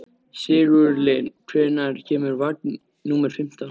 Sigurlinn, hvenær kemur vagn númer fimmtán?